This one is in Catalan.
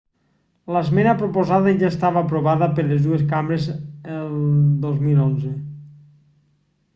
l'esmena proposada ja estava aprovada per les dues cambres el 2011